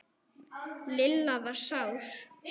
Lilla var sár.